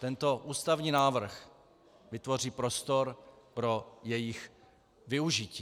Tento ústavní návrh vytvoří prostor pro jejich využití.